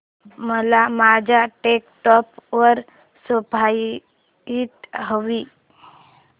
मला माझ्या डेस्कटॉप वर स्पॉटीफाय हवंय